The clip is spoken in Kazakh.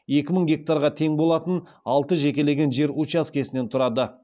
екі мың гектарға тең болатын алты жекелеген жер учаскесінен тұрады